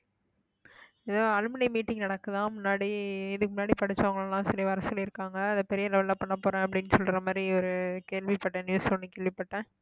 எதோ alumni meeting நடக்குதாம் முன்னாடி இதுக்கு முன்னாடி படிச்சவங்க எல்லாம் சொல்லி வர சொல்லி இருக்காங்க அதை பெரிய level ல பண்ண போறேன் அப்படின்னு சொல்ற மாதிரி ஒரு கேள்விப்பட்ட news ஒண்ணு கேள்விப்பட்டேன்